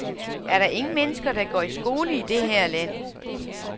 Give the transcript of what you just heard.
Er der ingen mennesker, der går i skole i det her land?